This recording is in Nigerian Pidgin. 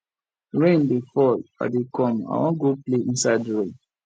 rain dey fall i dey come i wan go play inside rain